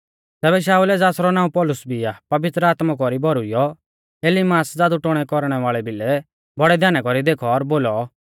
तैबै शाऊलै ज़ासरौ नाऊं पौलुस भी आ पवित्र आत्मा कौरी भौरुइऔ इलीमास ज़ादुटोणै कौरणै वाल़ै भिलै बौड़ै ध्याना कौरी देखौ और बोलौ